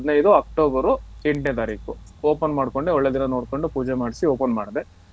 October ಎಂಟನೇ ತಾರೀಖು open ಮಾಡ್ಕೊಂಡೆ ಒಳ್ಳೆ ದಿನ ನೋಡ್ಕೊಂಡು ಪೂಜೆ ಮಾಡ್ಸಿ open ಮಾಡ್ದೆ.